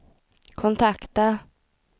kontakta